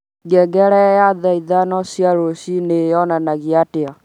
ngengere ya thaa ithano cia rũcinĩ yonanagia atĩa?